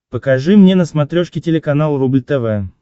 покажи мне на смотрешке телеканал рубль тв